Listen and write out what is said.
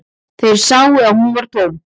Þeir sáu að hún var tóm.